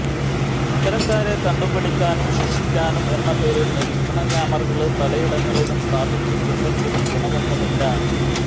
ഇത്തരക്കാരെ കണ്ടുപിടിക്കാനും ശിക്ഷിക്കാനും എന്നപേരില് നിരീക്ഷണക്യാമറകള് പലയിടങ്ങളിലും സ്ഥാപിച്ചിട്ടുണ്ടെങ്കിലും ഗുണമൊന്നുമില്ല